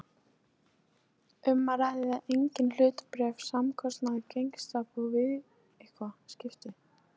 Litlu krakkarnir fengu loksins eigið afdrep- með lykli.